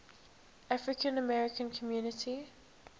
african american community